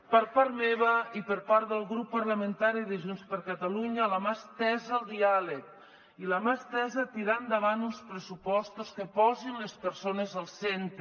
per part meva i per part del grup parlamentari de junts per catalunya la mà estesa al diàleg i la mà estesa a tirar endavant uns pressupostos que posin les persones al centre